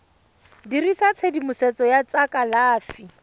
dirisa tshedimosetso ya tsa kalafi